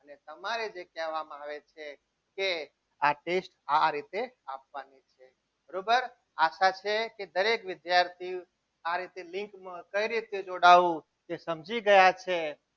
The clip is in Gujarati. કે તમારે જે કહેવામાં આવે છે કે આ test તમારી આ રીતે આપવાનું છે બરોબર આશા છે કે દરેક વિદ્યાર્થી આ રીતે લિંકમાં કઈ રીતે જોડાવું તે સમજી ગયા છે.